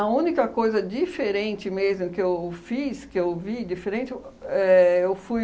única coisa diferente mesmo que eu fiz, que eu vi diferente, o éh eu fui